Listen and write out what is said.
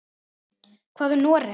Hvað um Noreg?